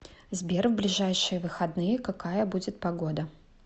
сбер в ближайшие выходные какая будет погода